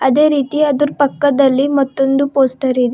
ಅದೇ ರೀತಿ ಅದ್ರು ಪಕ್ಕದಲ್ಲಿ ಮತ್ತೊಂದು ಪೋಸ್ಟರ್ ಇದೆ.